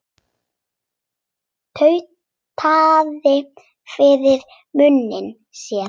Tautaði fyrir munni sér.